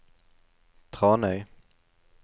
Tranøy